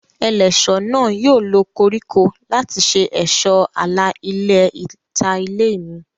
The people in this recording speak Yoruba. Ẹlẹ́ṣọ̀ náà yóò lo koríko láti ṣe ẹ̀ṣọ́ àlà ilẹ̀ ìta ilé mi